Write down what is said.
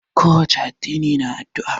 Ko wace addini na addu'a.